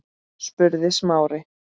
spurði Smári.